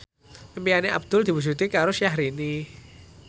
impine Abdul diwujudke karo Syahrini